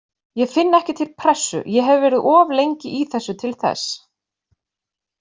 Ég finn ekki til pressu, ég hef verið of lengi í þessu til þess.